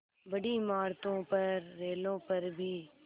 बड़ी इमारतों पर रेलों पर भी